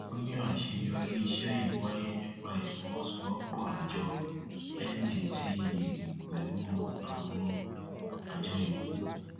ó ní àṣeyọrí iṣẹ yìí wáyé nípa ìfọwọsowọpọ àjọ ndtea pẹlú àwọn àjọ yòókù